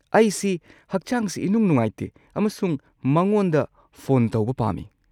ꯑꯩꯁꯤ ꯍꯛꯆꯥꯡꯁꯤ ꯏꯅꯨꯡ-ꯅꯨꯡꯉꯥꯏꯇꯦ ꯑꯃꯁꯨꯡ ꯃꯉꯣꯟꯗ ꯐꯣꯟ ꯇꯧꯕ ꯄꯥꯝꯃꯤ꯫